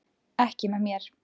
Ekki með mér.